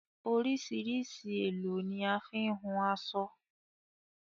Oríṣìíríṣìí èlò ni a fi ń hun aṣọ.